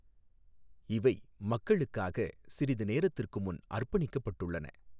இவை மக்களுக்காக சிறிது நேரத்துக்கு முன் அர்ப்பணிக்கப்பட்டுள்ளன.